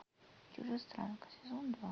чужестранка сезон два